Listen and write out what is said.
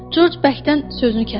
Corc bəkdən sözünü kəsdi.